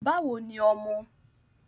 Báwo ni ọmọ?